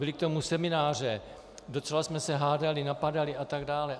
Byly k tomu semináře, docela jsme se hádali, napadali a tak dále.